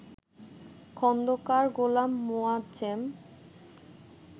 Khandakar Golam Moazzem